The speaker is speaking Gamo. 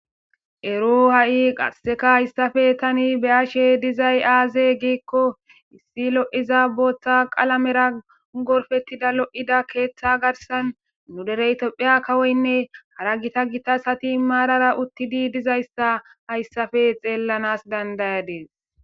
Ero hay haysape tani be'ishe dizay aze giko issi lo'za bota qalamera gorpetida lo'ida ketha garsan nu dere itopia kawoyne hara gita gita asati marara utidi dizaysi haysape xelishanas danda'adis.